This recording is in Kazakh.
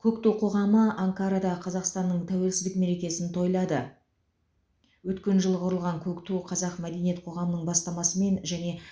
көкту қоғамы анкарада қазақстанның тәуелсіздік мерекесін тойлады өткен жылы құрылған көкту қазақ мәдениет қоғамының бастамасымен және